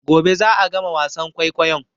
Gobe za'a gama wasan kwaikwayon